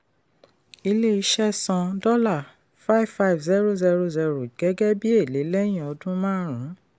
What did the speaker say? ilé-iṣẹ́ san $55000 gẹ́gẹ́ bí èlé lẹ́yìn ọdún márùn-ún.